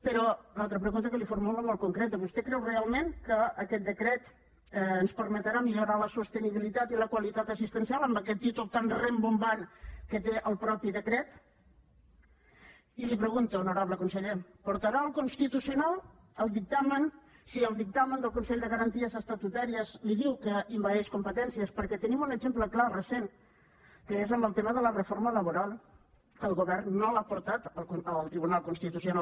però l’altra pregunta que li formulo molt concreta vostè creu realment que aquest decret ens permetrà millorar la sostenibilitat i la qualitat assistencial amb aquest títol tan rimbombant que té el mateix decret i li pregunto honorable conseller portarà al constitucional el dictamen si el dictamen del consell de garanties estatutàries li diu que envaeix competències perquè tenim un exemple clar recent que és en el tema de la reforma laboral que el govern no l’ha portat al tribunal constitucional